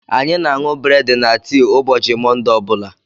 Anyị na aṅụ breedi na tii ụbọchị Monde ọbula.